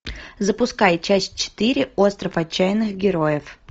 запускай часть четыре остров отчаянных героев